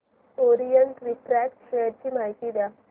Orient Refract share ची माहिती द्या